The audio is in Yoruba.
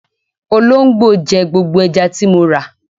Olóńgbò jẹ gbogbo ẹja tí mo rà.